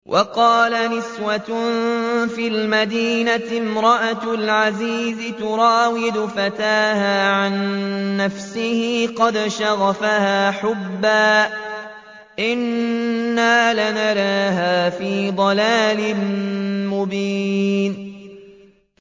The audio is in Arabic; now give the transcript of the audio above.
۞ وَقَالَ نِسْوَةٌ فِي الْمَدِينَةِ امْرَأَتُ الْعَزِيزِ تُرَاوِدُ فَتَاهَا عَن نَّفْسِهِ ۖ قَدْ شَغَفَهَا حُبًّا ۖ إِنَّا لَنَرَاهَا فِي ضَلَالٍ مُّبِينٍ